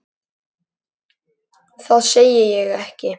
Það sagði ég ekki